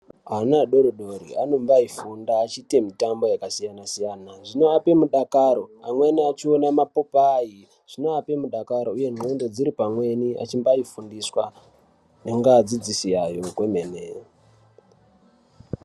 Ana adori dori anombaifunda achiite mitambo yakasiyana siyana. Zvinoape mudakaro, amweni achione zvipopai, zvinoape mudakaro uye ndxondo dziri pamweni achimbaifundiswa neadzidzisi yayo kwemene.